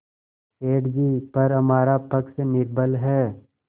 सेठ जीपर हमारा पक्ष निर्बल है